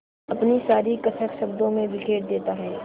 अपनी सारी कसक शब्दों में बिखेर देता है